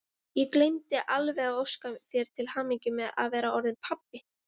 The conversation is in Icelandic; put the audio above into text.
Ég gleymdi alveg að óska þér til hamingju með að vera orðinn pabbi!